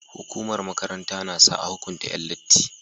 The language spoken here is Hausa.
Hukumar makaranta nasa a hukunta Yan latti